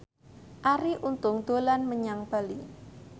Arie Untung dolan menyang Bali